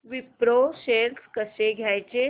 Wipro shares कसे घ्यायचे